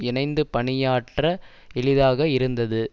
இணைந்து பணியாற்ற எளிதாக இருந்தது